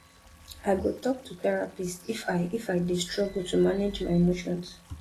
i go talk to therapist if i if i dey struggle to manage my emotions